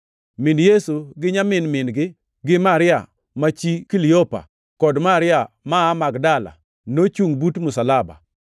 Min Yesu gi nyamin min-gi, gi Maria ma chi Kiliopa kod Maria ma aa Magdala nochungʼ but msalaba.